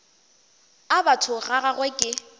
a batho ga gagwe ke